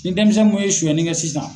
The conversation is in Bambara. Ni denmisɛn kun ye suyɛnli kɛ sisan